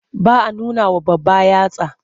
Ba a nunawa babba yatsa.